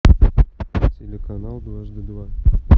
телеканал дважды два